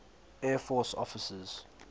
air force officers